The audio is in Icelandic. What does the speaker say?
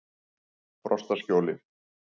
Frostaskjóli